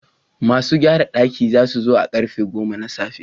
Masu gyarar dakin za su zo a karfe goma na tsafe.